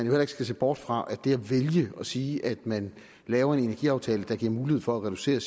heller ikke se bort fra at det at vælge at sige at man laver en energiaftale der giver mulighed for at reducere